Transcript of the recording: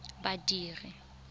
badiri